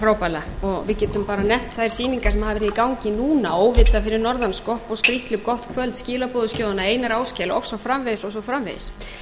frábærlega og við getum bara nefnt þær sýningar sem hafa verið í gangi núna óvita fyrir norðan skapa og skrítlu gott kvöld skilaboðaskjóðuna einar áskel og svo framvegis